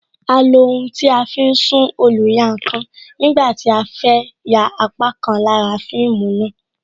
A lo ohun tí a fi ń sún oluyankan nígbà tí a fẹ ya apá kan lára fíìmù náà